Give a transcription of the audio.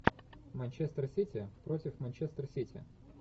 манчестер сити против манчестер сити